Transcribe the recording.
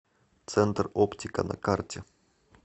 центр оптика на карте